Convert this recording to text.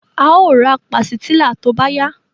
A o ra pàsìtílà tó bá yá